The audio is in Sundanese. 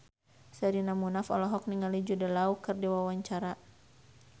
Sherina Munaf olohok ningali Jude Law keur diwawancara